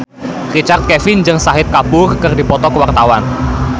Richard Kevin jeung Shahid Kapoor keur dipoto ku wartawan